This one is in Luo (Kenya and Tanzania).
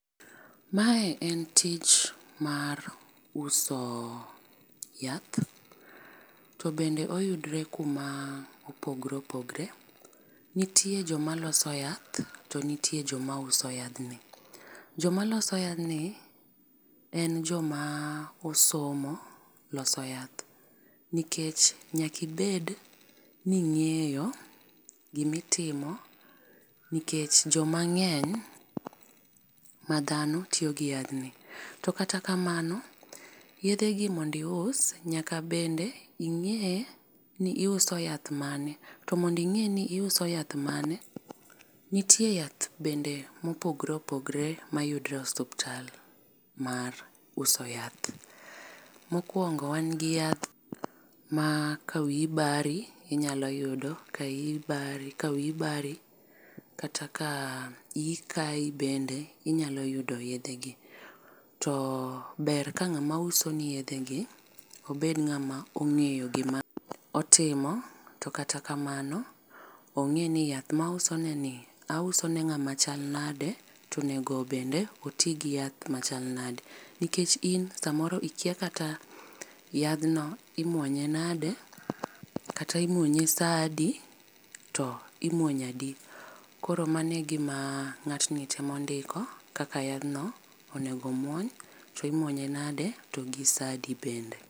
Mae en tich mar uso yath, to bende oyudre kuma opogore opogore. Nitie jo maloso yath to nitie jo ma uso yadhni. Jo maloso yadhni en jo ma osomo loso yath nikech nyaka ibed ni ing'eyo gi ma itimo nikech jo ma ng'eny ma dhano tiyo gi yadh ni. To kata kamano yedhe gi mondo ius nyaka bende ing'e ni iuso yath mane to mondo inge ni iuso yath mane , nitie yath bende ma opogore opogore ma yudre e osiptal mar uso yath. Mokuongo wan gi yath ma ka wiyi bari inyalo yudo ka iyi ka wiyi bari kata ka iyi kayi bende inyalo yudo yedhe gi. To ber ka ng'ama uso ni yedhe gi obed ng'ama ong'eyo gi ma otimo to kata kamano ong'e ni yath ma ouso ni ni auso ne ng'ama chal nade to bende onego oti gi yath ma chal nade .Nikech in saa a moro ikia kata yadh no imuonye nade? Kata imuonye saa di? To imuonyo adi. Koro mano e gi ma ng'at ni temo ndiko, kaka yadh no onego omuony, to imuonye nadi ,to gi saa di bende.